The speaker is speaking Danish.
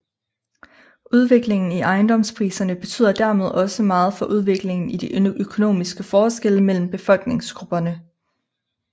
Udviklingen i ejendomspriserne betyder dermed også meget for udviklingen i de økonomiske forskelle mellem befolkningsgrupperne